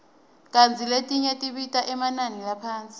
kantsi letinye tibita emanani laphasi